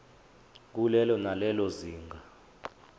kulelo nalelo zinga